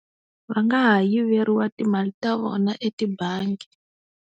Va nga ha yiveriwa timali ta vona etibangi.